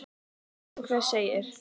Hvað sem hver segir.